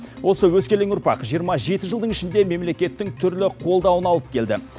осы өскелең ұрпақ жиырма жеті жылдың ішінде мемлекеттің түрлі қолдауын алып келді